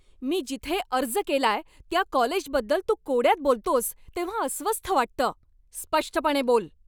मी जिथे अर्ज केलाय त्या कॉलेजबद्दल तू कोड्यात बोलतोस तेव्हा अस्वस्थ वाटतं. स्पष्टपणे बोल!